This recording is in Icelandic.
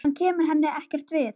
Hann kemur henni ekkert við.